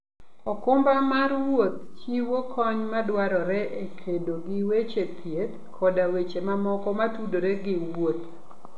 okumba mar wuoth chiwo kony madwarore e kedo gi weche thieth koda weche mamoko motudore gi wuoth.